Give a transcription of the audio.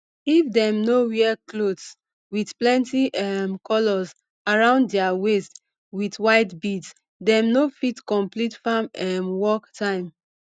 if dem no wear clothes with plenty um colors round their waist with white beads dem no fit complete farm um work time